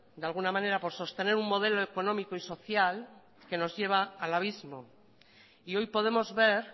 de alguna manera por sostener un modelo económico y social que nos lleva al abismo y hoy podemos ver